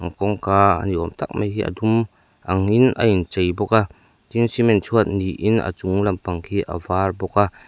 kawngka a ni awm tak mai hi a dum angin a inchei bawk a tin cement chhuat niin a chung lampang khi a var bawk a.